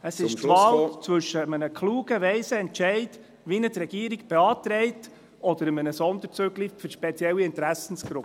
Es ist …… die Wahl zwischen einem klugen, weisen Entscheid, wie ihn die Regierung beantragt, oder einem Sonderzüglein für spezielle Interessengruppen.